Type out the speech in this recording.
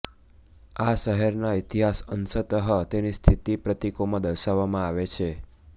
આ શહેરના ઇતિહાસ અંશતઃ તેની સ્થિતિ પ્રતીકો માં દર્શાવવામાં આવે છે